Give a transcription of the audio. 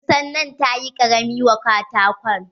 Kusan nan tayi ƙarami wa katakon.